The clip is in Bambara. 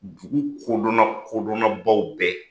Dugu kodɔnna kodonnabaw bɛɛ